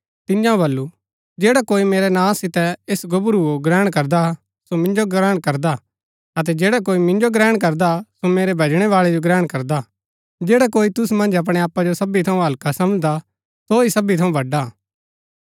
तिआंओ वल्‍लु जैडा कोई मेरै नां सितै ऐस गोबरूओ ग्रहण करदा सो मिन्जो ग्रहण करदा अतै जैडा कोई मिन्जो ग्रहण करदा सो मेरै भैजणै बाळै जो ग्रहण करदा जैडा कोई तुसु मन्ज अपणै आपा जो सबी थऊँ हल्का समझदा सो ही सबी थऊँ बड़ा